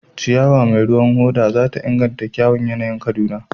Ciyawa mai ruwan hoda za ta inganta kyawun yanayin Kaduna.